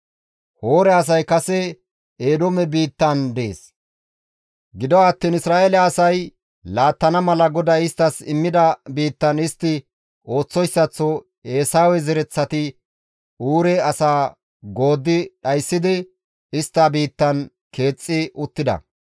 Hoore asay kase Eedoome biittaan dees; gido attiin Isra7eele asay laattana mala GODAY isttas immida biittan istti ooththoyssaththo Eesawe zereththati Uure asaa gooddi dhayssidi istta biittan keexxi uttida.]